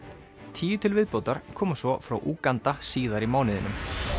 tíu til viðbótar koma svo frá Úganda síðar í mánuðinum